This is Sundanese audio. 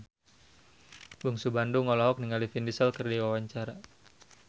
Bungsu Bandung olohok ningali Vin Diesel keur diwawancara